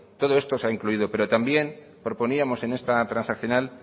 todo esto se ha incluido pero también proponíamos en esta transaccional